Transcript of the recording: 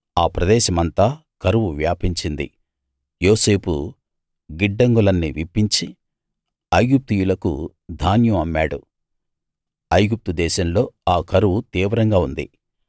ఆ ప్రదేశమంతా కరువు వ్యాపించింది యోసేపు గిడ్డంగులన్నీ విప్పించి ఐగుప్తీయులకు ధాన్యం అమ్మాడు ఐగుప్తు దేశంలో ఆ కరువు తీవ్రంగా ఉంది